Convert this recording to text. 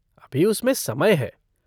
अभी उसमें समय है।